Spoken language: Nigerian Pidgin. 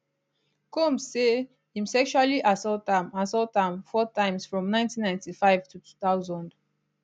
combs say im sexually assault am assault am four times from 1995 to 2000